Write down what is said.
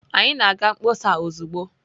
Anyị na-aga mkpọsa ozugbo.